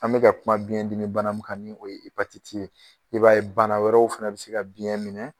An bɛ ka kuma biyɛn dimi bana min kan ni o ye ye, i b'a ye bana wɛrɛw fɛnɛ bɛ se ka biyɛn minɛ